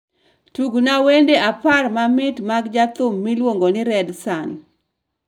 Tugna wend apar mamit mag jachim miluongo ni Redsun.